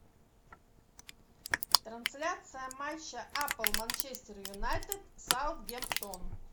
трансляция матча апл манчестер юнайтед саутгемптон